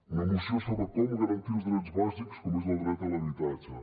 una moció sobre com garantir els drets bàsics com és el dret a l’habitatge